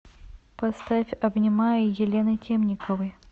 поставь обнимаю елены темниковой